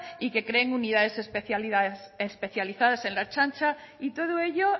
y que creen unidades especializadas en la ertzaintza y todo ello